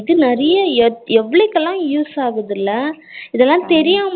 இது நெறைய எவளவுக்கெல்லாம் use ஆகுதுல்லா இதெல்லாம் தெரியாதவங்களுக்கு